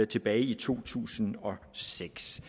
tilbage i to tusind og seks